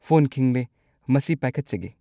Phone ꯈꯤꯡꯂꯦ, ꯃꯁꯤ ꯄꯥꯏꯈꯠꯆꯒꯦ꯫